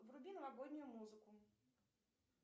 вруби новогоднюю музыку